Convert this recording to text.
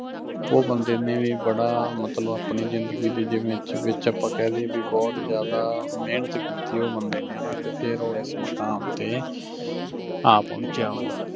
ਉਹ ਬੰਦੇ ਨੇ ਵੀ ਬੜਾ ਮਤਲਬ ਆਪਣੀ ਜਿੰਦਗੀ ਦੇ ਵਿੱਚ ਵਿੱਚ ਅੱਪਾਂ ਕਹਿ ਲੀਏ ਬੀ ਬਹੁਤ ਜਿਆਦਾ ਮਿਹਨਤ ਕੀਤੀ ਆ ਉਹ ਬੰਦੇ ਨੇ ਹੈਨਾ, ਤੇ ਫਿਰ ਉਹ ਇਸ ਮੁਕਾਮ ਤੇ ਆ ਪਹੁੰਚਿਆ ਉਹੋ।